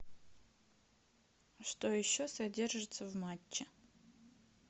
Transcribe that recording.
что еще содержится в матче